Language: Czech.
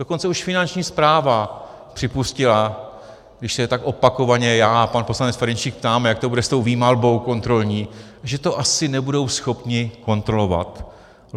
Dokonce už Finanční správa připustila, když se tak opakovaně já a pan poslanec Ferjenčík ptáme, jak to bude s tou výmalbou kontrolní, že to asi nebudou schopni kontrolovat.